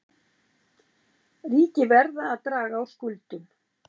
Ríki verða að draga úr skuldum